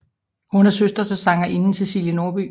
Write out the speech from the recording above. Hun er søster til sangerinden Cæcilie Norby